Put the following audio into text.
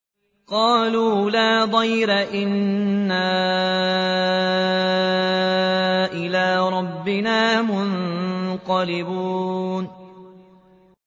قَالُوا لَا ضَيْرَ ۖ إِنَّا إِلَىٰ رَبِّنَا مُنقَلِبُونَ